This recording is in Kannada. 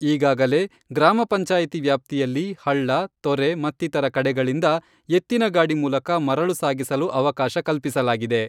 ಈಗಾಗಲೇ ಗ್ರಾಮ ಪಂಚಾಯಿತಿ ವ್ಯಾಪ್ತಿಯಲ್ಲಿ ಹಳ್ಳ, ತೊರೆ ಮತ್ತಿತರ ಕಡೆಗಳಿಂದ ಎತ್ತಿನ ಗಾಡಿ ಮೂಲಕ ಮರಳು ಸಾಗಿಸಲು ಅವಕಾಶ ಕಲ್ಪಿಸಲಾಗಿದೆ.